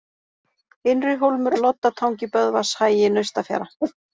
Innrihólmur, Loddatangi, Böðvarshagi, Naustafjara